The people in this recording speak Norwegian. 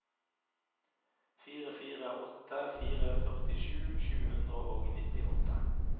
fire fire åtte fire førtisju sju hundre og nittiåtte